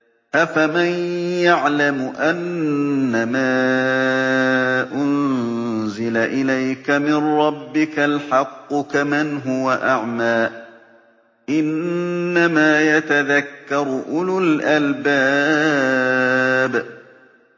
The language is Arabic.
۞ أَفَمَن يَعْلَمُ أَنَّمَا أُنزِلَ إِلَيْكَ مِن رَّبِّكَ الْحَقُّ كَمَنْ هُوَ أَعْمَىٰ ۚ إِنَّمَا يَتَذَكَّرُ أُولُو الْأَلْبَابِ